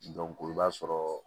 i b'a sɔrɔ